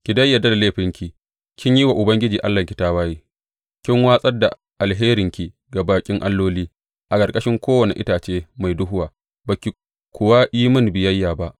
Ki dai yarda da laifinki kin yi wa Ubangiji Allahnki tawaye, kin watsar da alheranki ga baƙin alloli a ƙarƙashin kowane itace mai duhuwa, ba ki kuwa yi mini biyayya ba,’